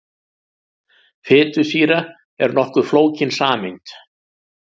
Fitusýra er nokkuð flókin sameind.